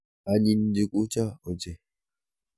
Anyiny njugucho ochei.